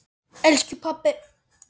Elsku pabbi!